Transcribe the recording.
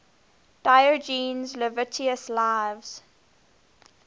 diogenes laertius's lives